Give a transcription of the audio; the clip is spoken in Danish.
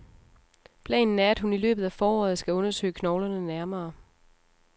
Planen er, at hun i løbet af foråret skal undersøge knoglerne nærmere.